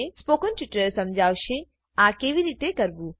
spoken tutorial સમજાવશે આ કેવી રીતે કરવું